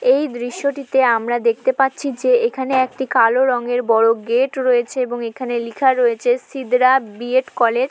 এই দৃশ্যটিতে আমরা দেখতে পাচ্ছি যে এখানে একটি কালো রঙের বড়ো গেট রয়েছে এবং এখানে লেখা রয়েছে শিবরা বি.এড কলেজ ।